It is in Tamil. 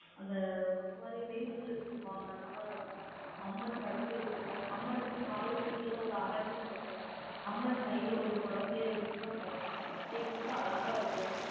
அந்த, ஒரு மாரி, மெய் சிலிர்க்கும்பாங்க. அந்த மாரி இருக்கும். அம்மன் படுத்திருக்கும். அம்மனுக்கு, காலுக்கு கீழ, ஒரு அரக்கன் இருக்கும் அம்மன் கையில ஒரு குழந்தையை வச்சுட்டுதான் படுத்திருக்கும். அப்படிங்கும்போது, அழகா இருக்கும்.